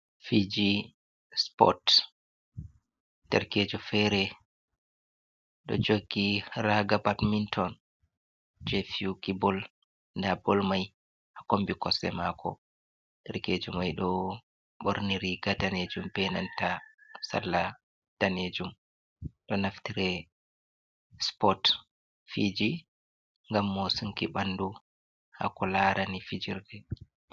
Fiji spot, ɗerkejo fere ɗo jogi raga batminton, je fiyuki bol, nɗa bol mai ha kombi kosɗe mako, ɗerkejo mai ɗo ɓorni riga danejum be nanta salla danejum, ɗo naftire spot fiji, ngam mo sunki ɓandu hako larani fijirde.